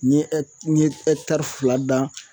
N ye n ye fila dan.